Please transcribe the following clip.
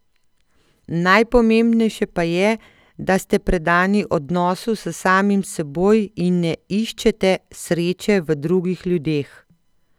Najpomembnejše pa je, da ste predani odnosu s samim seboj in ne iščete sreče v drugih ljudeh.